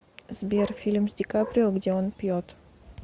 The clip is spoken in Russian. сбер фильм с дикаприо где он пьет